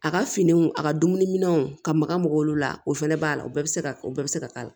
A ka finiw a ka dumuni minɛnw ka maka mɔgɔw la o fana b'a la u bɛ se ka o bɛɛ bɛ se ka k'a la